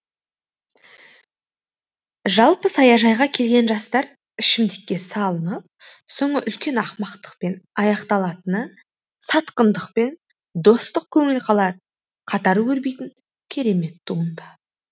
жалпы саяжайға келген жастар ішімдікке салынып соңы үлкен ақымақтықпен аяқталатыны сатқындық пен достық көңіл қалар қатар өрбитін керемет туынды